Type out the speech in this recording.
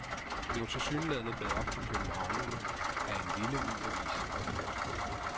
Det var tilsyneladende gået op for københavnerne, at en lille, ny avis var født.